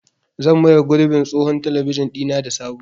Zan maye gurbin tsohon talabijin ɗina da sabo.